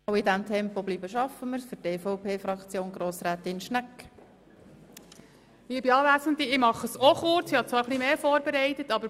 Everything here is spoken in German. Ich fasse mich ebenfalls kurz, obwohl ich mehr vorbereitet habe.